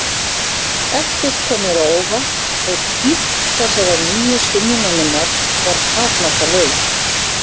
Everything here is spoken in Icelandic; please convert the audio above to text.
Ekkert kom mér á óvart og dýpt þessarar nýju skynjunar minnar var takmarkalaus.